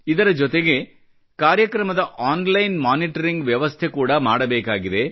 ಇದರ ಜೊತೆಗೆ ಕಾರ್ಯಕ್ರಮದ ಆನ್ಲೈನ್ ಮಾನಿಟರಿಂಗ್ ನ ವ್ಯವಸ್ಥೆ ಕೂಡ ಮಾಡಬೇಕಾಗಿದೆ